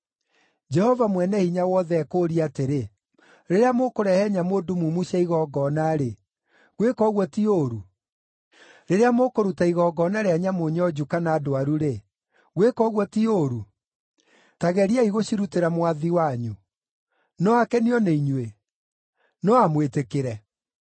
Jehova Mwene-Hinya-Wothe ekũũria atĩrĩ, ‘Rĩrĩa mũkũrehe nyamũ ndumumu cia igongona-rĩ, gwĩka ũguo ti ũũru? Rĩrĩa mũkũruta igongona rĩa nyamũ nyonju kana ndwaru-rĩ, gwĩka ũguo ti ũũru? Ta geriai gũcirutĩra mwathi wanyu! No akenio nĩinyuĩ? No amwĩtĩkĩre?’